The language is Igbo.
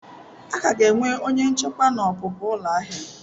A ka ga-enwe onye nchekwa na ọpụpụ ụlọ ahịa.